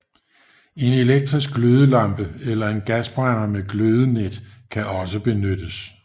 En elektrisk glødelampe eller en gasbrænder med glødenet kan også benyttes